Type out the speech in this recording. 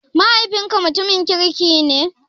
Mahaifinka mutumin kirki ne?